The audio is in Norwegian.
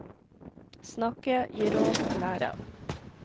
Snakke, gi råd, lære.